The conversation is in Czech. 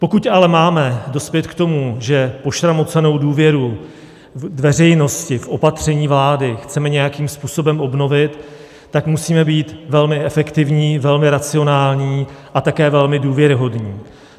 Pokud ale máme dospět k tomu, že pošramocenou důvěru veřejnosti k opatřením vlády chceme nějakým způsobem obnovit, tak musíme být velmi efektivní, velmi racionální a také velmi důvěryhodní.